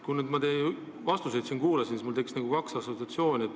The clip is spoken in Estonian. Kui ma nüüd teie vastuseid kuulasin, siis mul tekkis kaks assotsiatsiooni.